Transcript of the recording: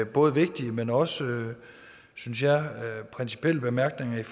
både vigtige men også synes jeg principielle bemærkninger